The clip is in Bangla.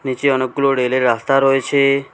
নীচে অনেকগুলো রেলের রাস্তা রয়েছে।